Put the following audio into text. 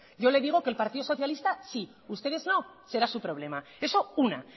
yo le digo que el partido socialista sí ustedes no será su problema eso una